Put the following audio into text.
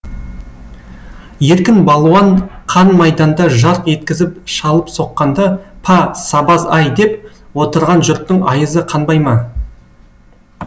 еркін балуан қан майданда жарқ еткізіп шалып соққанда па сабаз ай деп отырған жұрттың айызы қанбай ма